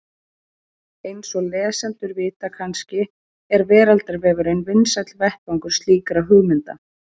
Eins og lesendur vita kannski er Veraldarvefurinn vinsæll vettvangur slíkra hugmynda.